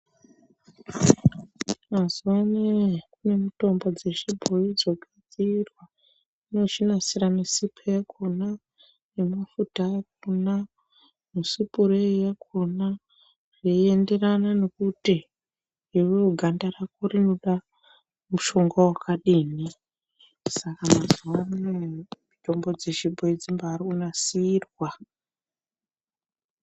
Mazuva anaya kune mitombo dzechibhoyi dzonasirwa .Inozvinasira nesipo yakona ,nemafuta akona, nesipureyi yakona zveienderana nekuti iwewe ganda rako rinoda mushonga wakadini. Saka mazuva anaya mitombo dzechibhoyi dzirikumbaanasirwa.